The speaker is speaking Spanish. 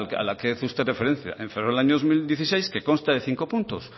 a la que usted ha hecho referencia en febrero del años dos mil dieciséis que consta de cinco puntos